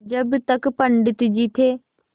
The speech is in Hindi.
जब तक पंडित जी थे